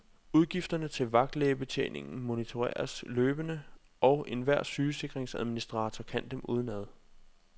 Udgifterne til vagtlægebetjeningen monitoreres løbende, og enhver sygesikringsadministrator kan dem udenad.